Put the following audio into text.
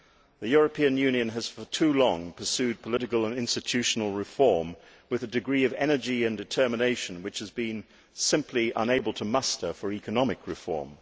the European Union has, for far too long, pursued political and institutional reform with a degree of energy and determination which it has simply been unable to muster for economic reform.